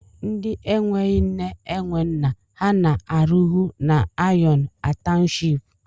Ndi enweghi nne, enwe nna, ha na-arụhụ na iron a townshipu?